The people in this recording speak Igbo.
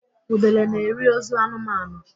Udele na-eri ozu anụmanụ